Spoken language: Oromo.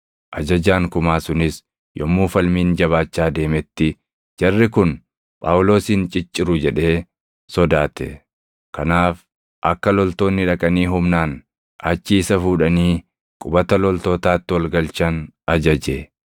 Ajajaan kumaa sunis yommuu falmiin jabaachaa deemetti jarri kun Phaawulosin cicciru jedhee sodaate. Kanaaf akka loltoonni dhaqanii humnaan achii isa fuudhanii qubata loltootaatti ol galchan ajaje.